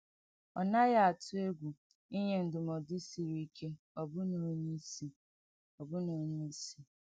Ọ naghị atụ egwu inye ndụmọdụ siri ike ọbụna onye isi. ọbụna onye isi.